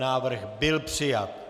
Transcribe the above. Návrh byl přijat.